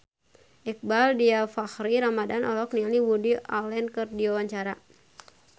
Iqbaal Dhiafakhri Ramadhan olohok ningali Woody Allen keur diwawancara